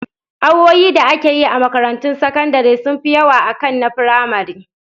Awoyi da ake yi a makarantun sakandire sun fi yawa akan na firamare